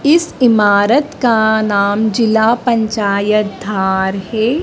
इस इमारत का नाम जिला पंचायत धार है।